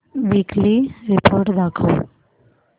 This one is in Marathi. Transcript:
वीकली रिपोर्ट दाखव